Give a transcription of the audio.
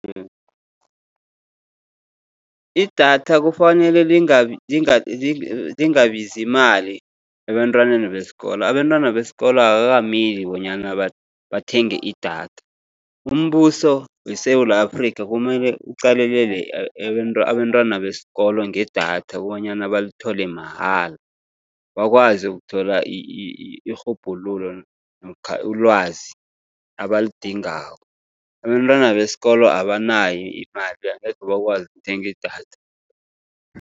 Idatha kufanele lingabizi imali ebantwaneni besikolo. Abantwana besikolo akukameli bonyana bathenge idatha. Umbuso weSewula Afrikha, kumele uqalelele abantwana besikolo ngedatha bonyana balithole mahala, bakwazi ukuthola irhubhululo namkha ulwazi abalidingako. Abantwana besikolo abanayo imali, angekhe bakwazi ukuthenga idatha.